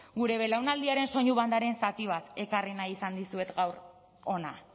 gure belaunaldiaren soinu bandaren zati bat ekarri nahi izan dizuet gaur hona